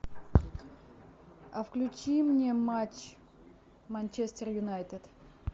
а включи мне матч манчестер юнайтед